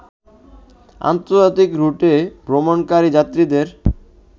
আন্তর্জাতিক রুটে ভ্রমণকারী যাত্রীদের